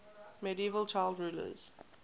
medieval child rulers